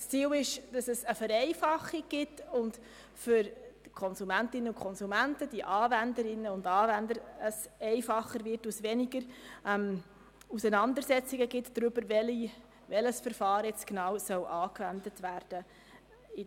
Das Ziel ist eine Vereinfachung, sodass es vor allem für die Konsumentinnen und Konsumenten sowie die Anwenderinnen und Anwender einfacher wird und somit weniger Auseinandersetzungen darüber entstehen, welches Verfahren bei den Streitigkeiten genau angewendet werden soll.